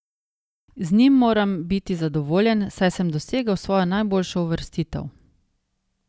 Z njim moram biti zadovoljen, saj sem dosegel svojo najboljšo uvrstitev.